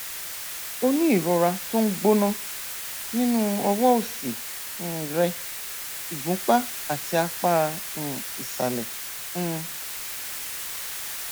o ní ìrora tó ń gbóná nínú ọwọ òsì um rẹ ìgúnpá àti apá um ìsàlẹ um